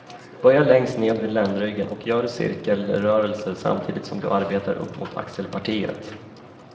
Börja längst ned vid ländryggen och gör cirkelrörelser, samtidigt som du arbetar upp mot axelpartiet.